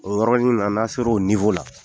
O yɔrɔ nin na n'an sera o la,